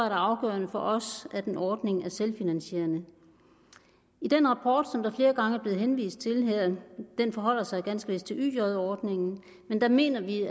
afgørende for os at en ordning er selvfinansierende i den rapport som der flere gange er blevet henvist til her den forholder sig ganske vist til yj ordningen mener vi